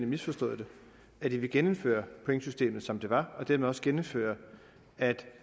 misforstået det at det vil genindføre pointsystemet som det var og dermed også genindføre at